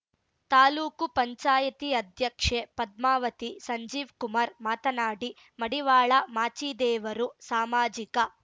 ತಾಲೂಕು ಪಂಚಾಯಿತಿ ಅಧ್ಯಕ್ಷೆ ಪದ್ಮಾವತಿ ಸಂಜೀವ್‌ಕುಮಾರ್‌ ಮಾತನಾಡಿ ಮಡಿವಾಳ ಮಾಚಿದೇವರು ಸಾಮಾಜಿಕ